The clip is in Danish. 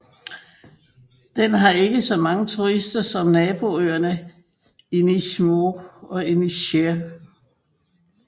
Den har ikke så mange turister som naboøerne Inishmore og Inisheer